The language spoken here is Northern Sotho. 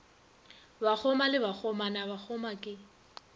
bakgoma le bakgomana bakgoma ke